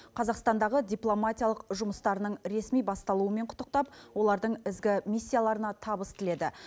қазақстандағы дипломатиялық жұмыстарының ресми басталуымен құттықтап олардың ізгі миссияларына табыс тіледі